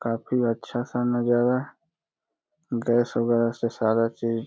काफी अच्छा सा नजारा गैस वगैरा से सारा चीज़ --